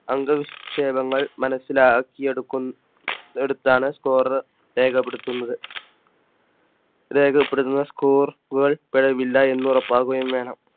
അംഗനിക്ഷേപങ്ങൾ മനസ്സിലാക്കിഎടുത്താണ് Score രേഖപ്പെടുത്തുന്നത്. രേഖപ്പെടുത്തുന്ന Score വേൾഡ്പിഴവില്ല എന്ന് ഉറപ്പുവരുത്തുകയും വേണം